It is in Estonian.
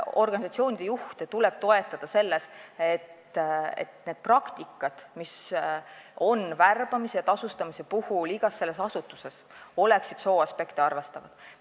Organisatsioonide juhte tuleb toetada selles, et värbamise ja tasustamise praktikad, mis on igas asutuses, oleksid sooaspekte arvestavad.